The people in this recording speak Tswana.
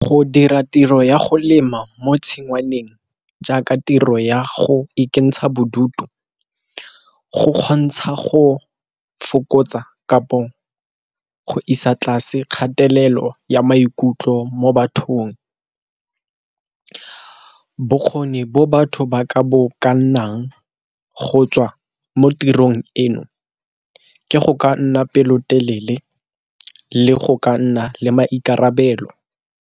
Go dira tiro ya go lema mo tshingwaneng jaaka tiro ya go ikentsha bodutu, go kgontsha go fokotsa kapo go isa tlase kgatelelo ya maikutlo mo bathong. Bokgoni bo batho ba ka bo kannang go tswa mo tirong eno ke go ka nna pelotelele le go ka nna le maikarabelo.